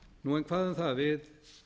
hvað um það við